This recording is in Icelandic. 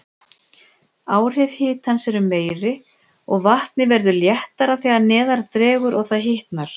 Áhrif hitans eru meiri, og vatnið verður léttara þegar neðar dregur og það hitnar.